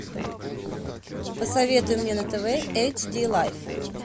посоветуй мне на тв эйч ди лайф